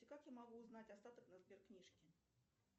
как я могу узнать остаток на сберкнижке